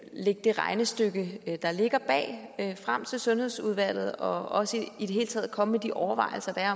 lægge det regnestykke der ligger bag frem til sundhedsudvalget og i det hele taget komme med de overvejelser der